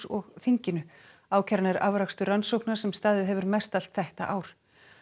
og þinginu ákæran er afrakstur rannsóknar sem staðið hefur mestallt þetta ár